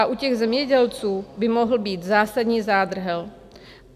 A u těch zemědělců by mohl být zásadní zádrhel.